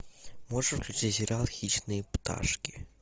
можешь включить сериал хищные пташки